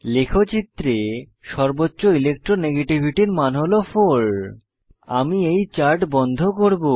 লেখচিত্রে সর্বোচ্চ ইলেকট্রো নেগেটিভিটির মান হল 4 আমি এই চার্ট বন্ধ করব